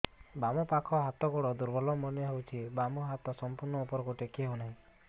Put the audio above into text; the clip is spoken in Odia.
ବାମ ପାଖ ହାତ ଗୋଡ ଦୁର୍ବଳ ମନେ ହଉଛି ବାମ ହାତ ସମ୍ପୂର୍ଣ ଉପରକୁ ଟେକି ହଉ ନାହିଁ